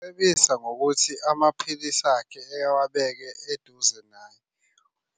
Cebisa ngokuthi amaphilisi akhe ewabeke eduze naye